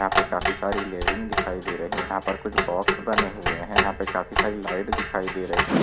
यहा काफी सारी दिखाई दे रही हैं यहा पे कुछ बॉक्स बने हुवे हैं यहा काफी सारी लाइट दिखाई दे रही हैं।